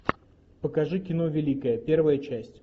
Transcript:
покажи кино великая первая часть